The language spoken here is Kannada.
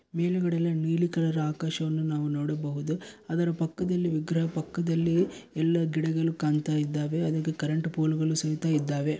ಮೇಲ್ಗಡೆ ಎಲ್ಲಾ ನೀಲಿ ಕಲರ್ ಆಕಾಶವನ್ನು ನಾವು ನೋಡಬಹುದು ಅದರ ಪಕ್ಕದಲ್ಲಿ ವಿಗ್ರಹ ಪಕ್ಕದಲ್ಲಿ ಎಲ್ಲಾ ಗಿಡಗಳು ಕಾಣುತ್ತಾ ಇದ್ದಾವೆ ಅಲ್ಲೊಂದು ಕರೆಂಟ್ ಪೋಲು ಗಳು ಸಹಿತ ಇದ್ದಾವೆ.